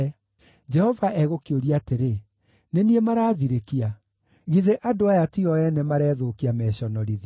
Jehova egũkĩũria atĩrĩ: Nĩ niĩ maraathirĩkia? Githĩ andũ aya ti o ene marethũkia meconorithie?